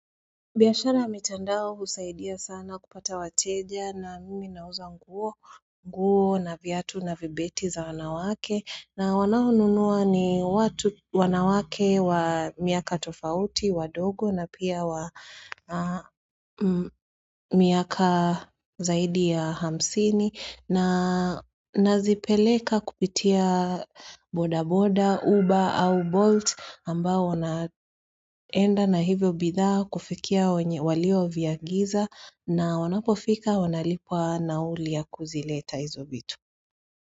Biashara ya mitandao husaidia sana kupata wateja na mimi nauza nguo nguo na viatu na vibeti za wanawake na wanao nunua ni watu wanawake wa miaka tofauti, wadogo na pia wa miaka zaidi ya hamsini na nazipeleka kupitia boda boda, uber au bolt ambao wanaenda na hivyo bidhaa kufikia walio viagiza na wanapofika wanalipwa nauli ya kuzileta hizo vitu.